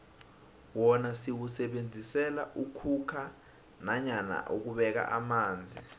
wona siwusebenzisela ukhukha nanyana ukubeka amanzi